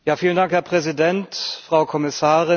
Herr Präsident, Frau Kommissarin!